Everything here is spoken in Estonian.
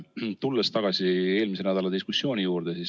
Tulen tagasi eelmise nädala diskussiooni juurde.